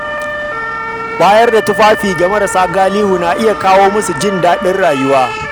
Bayar da tufafi ga marasa galihu na iya kawo musu jin daɗin rayuwa.